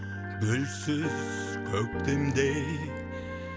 гүлсіз көктемдей